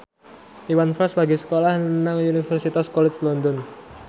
Iwan Fals lagi sekolah nang Universitas College London